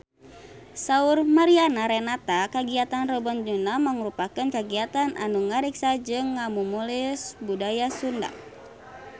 Saur Mariana Renata kagiatan Rebo Nyunda mangrupikeun kagiatan anu ngariksa jeung ngamumule budaya Sunda